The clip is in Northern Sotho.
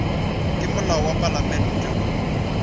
ka molao wa palamente woo